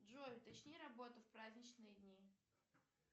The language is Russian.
джой уточни работу в праздничные дни